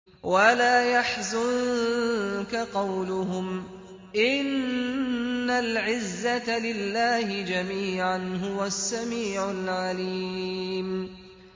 وَلَا يَحْزُنكَ قَوْلُهُمْ ۘ إِنَّ الْعِزَّةَ لِلَّهِ جَمِيعًا ۚ هُوَ السَّمِيعُ الْعَلِيمُ